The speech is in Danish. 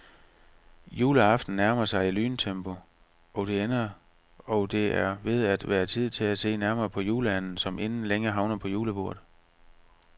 Juleaften nærmer sig i lyntempo, og det er ved at være tid til at se nærmere på juleanden, som inden længe havner på julebordet.